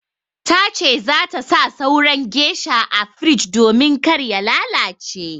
Ta ce za ta sa sauran geisha a firij domin kar ya lalace.